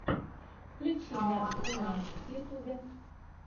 включи няшек умняшек в ютубе